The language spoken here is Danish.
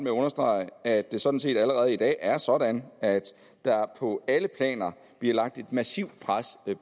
at understrege at det sådan set allerede i dag er sådan at der på alle planer bliver lagt et massivt pres